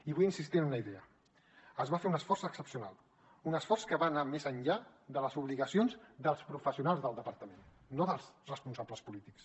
i vull insistir en una idea es va fer un esforç excepcional un esforç que va anar més enllà de les obligacions dels professionals del departament no dels responsables polítics